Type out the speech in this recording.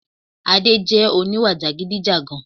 Adé jẹ oníwà jàgidijàgan